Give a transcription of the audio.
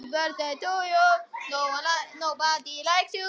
Ég er enn að læra.